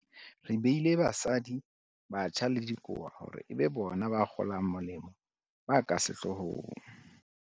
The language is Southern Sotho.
Re beile basadi, batjha le dikowa hore e be bona bakgolamolemo ba ka sehlohong.